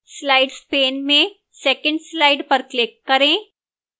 slides pane में 2nd slide पर click करें